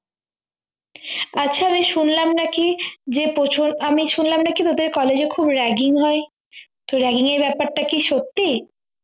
আচ্ছা আমি শুনলাম নাকি যে প্রচুর আমি শুনলাম নাকি ওদের college এ খুব ragging হয় তো ragging ব্যাপার টা কি সত্যি